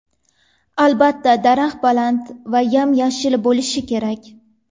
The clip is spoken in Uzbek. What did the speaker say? Albatta, daraxt baland va yam-yashil bo‘lishi kerak.